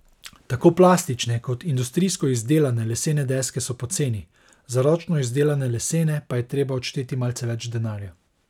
Tako plastične kot industrijsko izdelane lesene deske so poceni, za ročno izdelane lesene pa je treba odšteti malce več denarja.